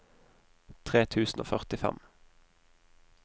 tre tusen og førtifem